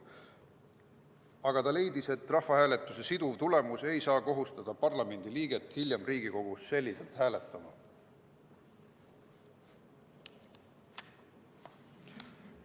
Aga ta leidis, et rahvahääletuse siduv tulemus ei saa kohustada parlamendiliiget hiljem Riigikogus selliselt hääletama.